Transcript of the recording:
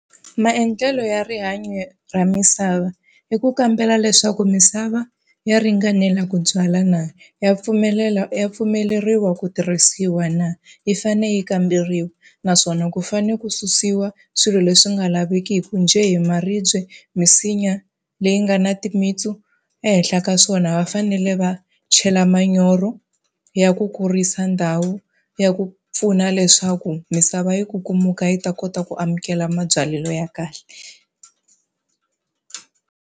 Maendlelo ya rihanyo ra misava i ku kambela leswaku misava ya ringanela ku byala na, ya pfumelela ya pfumeleriwa ku tirhisiwa na, yi fane yi kamberiwa naswona ku fanele ku susiwa swilo leswi nga laveki ku njhe hi maribye, misinya leyi nga na timitsu. Ehenhla ka swona va fanele va chela manyoro ya ku kurisa ndhawu, ya ku pfuna leswaku misava yi kukumuka yi ta kota ku amukela mabyalelo ya kahle.